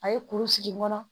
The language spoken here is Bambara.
A ye kuru sigi n kɔnɔ